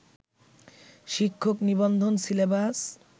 শিক্ষক নিবন্ধন সিলেবাস